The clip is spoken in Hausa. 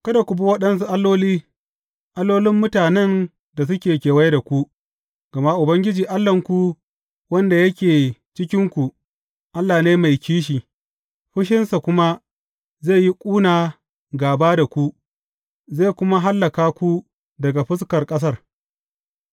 Kada ku bi waɗansu alloli, allolin mutanen da suke kewaye da ku; gama Ubangiji Allahnku, wanda yake cikinku, Allah ne mai kishi, fushinsa kuma zai yi ƙuna gāba da ku, zai kuma hallaka ku daga fuskar ƙasar.